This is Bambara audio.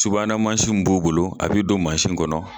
Subana min b'u bolo, a b'i don kɔnɔ